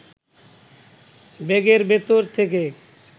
ব্যাগের ভেতর থেকে